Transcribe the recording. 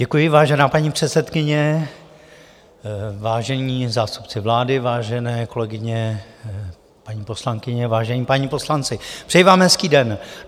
Děkuji, vážená paní předsedkyně, vážení zástupci vlády, vážené kolegyně, paní poslankyně, vážení páni poslanci, přeji vám hezký den.